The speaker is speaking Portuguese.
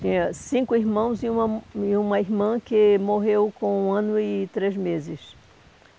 Tinha cinco irmãos e uma e uma irmã que morreu com um ano e três meses.